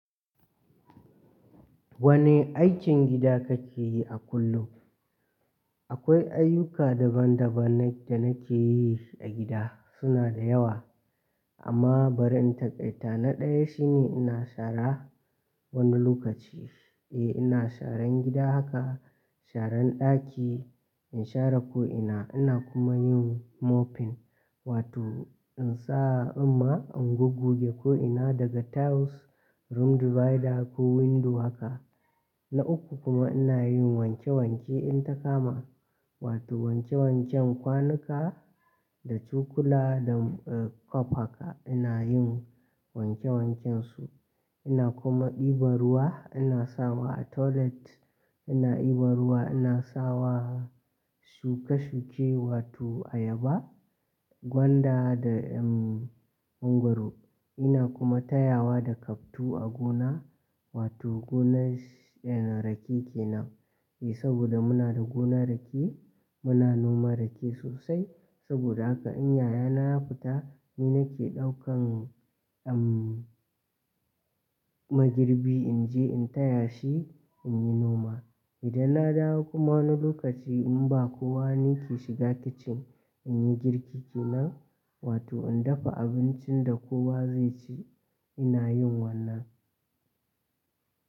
Wane aikin gida kake yi a kullum? Akwai ayyuka daban-daban da nake yi a gida, suna da yawa amma bari in taƙaita. Na ɗaya shine ina shara wani lokaci. Eh ina sharan gida haka, sharan ɗaki, in share ko ina. Ina kuma yin mopping, wato in sa summa in goggoge ko ina daga tiles, room divider ko window haka. Na uku kuma ina yin wanke-wanke in ta kama, wato wanke-wanken kwanuka da cokula da eh cup haka. Ina yin wanke-wankensu. Ina kuma ɗiban ruwa, ina sawa a toilet. Ina ɗiban ruwa ina sawa shuke-shuke, wato ayaba, gwanda da em mangwaro. Ina kuma tayawa da kaftu a gona, wato gonar rake kenan. Eh saboda muna da gonar rake, muna noman rake sosai. Saboda haka in yayana ya fita, ni nake ɗaukan eh magirbi in je in taya shi in yi noma. Idan na dawo kuma wani lokaci in ba kowa ni ke shiga kicin, in yi girki kenan, wato in dafa abincin da kowa zai ci. Ina yin wannan.